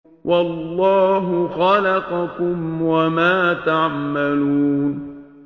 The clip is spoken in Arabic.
وَاللَّهُ خَلَقَكُمْ وَمَا تَعْمَلُونَ